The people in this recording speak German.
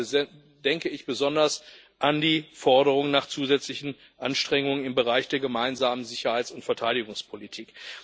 Dabei denke ich besonders an die Forderung nach zusätzlichen Anstrengungen im Bereich der gemeinsamen Sicherheits und Verteidigungspolitik.